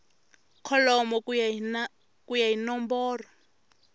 kholomo ku ya hi nomboro